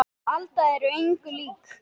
Hún Alda er engu lík